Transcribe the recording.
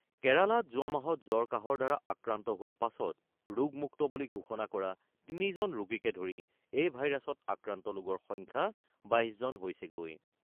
কেৰালাত যোৱা মাহত জ্বৰ-কাহৰ দ্বাৰা আক্ৰান্ত হোৱাৰ পাছত ৰোগমুক্ত বুলি ঘোষণা কৰা ৩ জন ৰোগীকে ধৰি এই ভাইৰাছত আক্ৰান্ত লোকৰ সংখ্যা ২২ জন হৈছেগৈ।